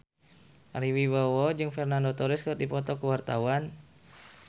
Ari Wibowo jeung Fernando Torres keur dipoto ku wartawan